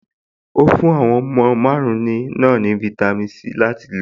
Ó fún àwọn ọmọ márùn-ún náà ní fáítámì Sí láti lò.